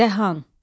Dəhan.